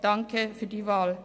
Danke für die Wahl.